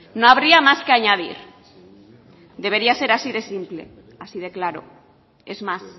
no habría más que añadir debería de ser así de simple así de claro es más